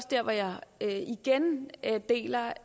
dér hvor jeg deler